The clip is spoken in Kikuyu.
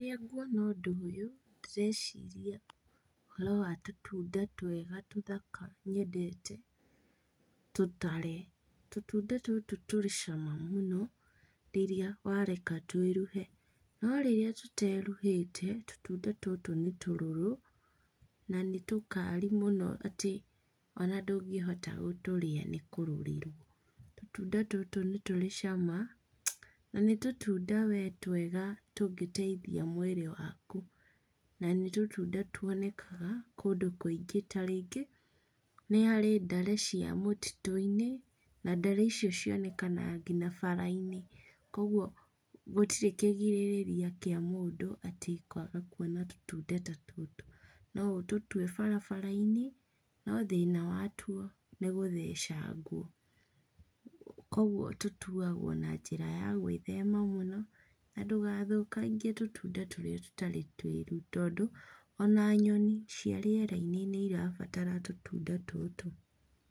Rĩrĩa nguona ũndũ ũyũ, ndĩreciria ũhoro wa tũtunda twega tũthaka, nyendete, tũtare. Tũtunda tũtũ tũrĩ cama mũno, rĩrĩa wareka twĩruhe, no rĩrĩa tũteruhĩte, tũtunda tũtũ nĩ tũrũrũ, na nĩtũkari mũno atĩ, ona ndũngĩhota gũtũrĩa nĩkũrũrĩrwo, tũtunda tũtũ nĩtũrĩ cama, na nĩ tũtunda we twega tũngĩteithia mwĩrĩ waku. Na nĩ tũtunda tuonekaga kũndũ kũigĩ tarĩngĩ nĩ harĩ ndare cia mũtitũinĩ, na ndare icio cionekaga nginya barainĩ, koguo gũtirĩ kĩgirĩrĩria kĩa mũndũ atĩ kwaga kuona tũtunda ta tũtũ. No ũtũtue barabarainĩ, no thĩna watuo, nĩgũthecangwo. Koguo tũtuagwo na njĩra ya gwĩthema mũno, na ndũgathũkangie tũtunda tũrĩa tũtarĩ twĩru, tondũ, ona nyoni cia rĩerainĩ nĩarabatara tũtunda tũtũ.